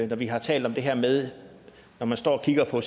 vi har talt om det her med at man står og kigger på